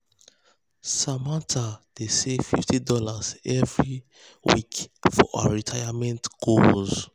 samantha dey save fifty dollarsevery fifty dollarsevery week for her retirement goals.